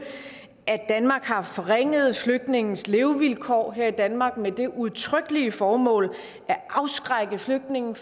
at danmark har forringet flygtninges levevilkår her i danmark med det udtrykkelige formål at afskrække flygtninge